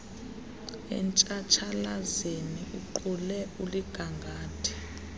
etshatshalazeni uqule uligangathe